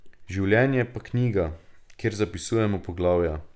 Življenje pa knjiga, kjer zapisujemo poglavja.